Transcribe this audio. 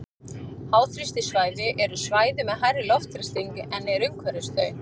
Háþrýstisvæði eru svæði með hærri loftþrýsting en er umhverfis þau.